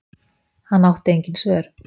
Hann átti engin svör.